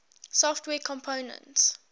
software components